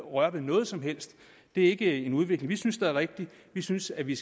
røre ved noget som helst det er ikke en udvikling vi synes er rigtig vi synes at vi